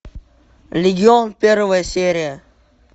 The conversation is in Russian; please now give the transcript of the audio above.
легион первая серия